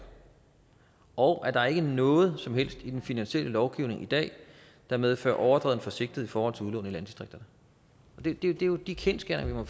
og at der ikke er noget som helst i den finansielle lovgivning i dag der medfører overdreven forsigtighed i forhold til udlån i landdistrikterne det er jo de kendsgerninger